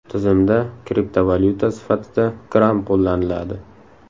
Tizimda kriptovalyuta sifatida Gram qo‘llaniladi.